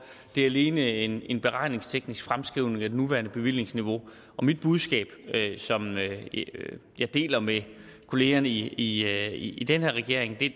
det er alene en en beregningsteknisk fremskrivning af det nuværende bevillingsniveau og mit budskab som jeg deler med kollegerne i i den her regering